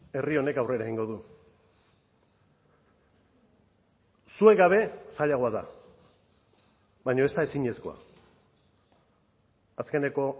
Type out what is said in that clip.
herri honek aurrera egingo du zuek gabe zailagoa da baina ez da ezinezkoa azkeneko